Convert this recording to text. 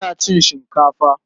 Ina cin shinkafa.